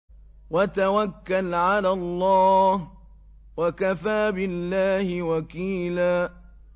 وَتَوَكَّلْ عَلَى اللَّهِ ۚ وَكَفَىٰ بِاللَّهِ وَكِيلًا